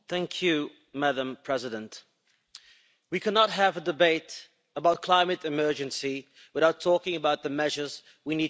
Madam President, we cannot have a debate about climate emergency without talking about the measures we need to take.